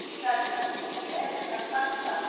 A cidade de Casa Nova Velha está debaixo d'água.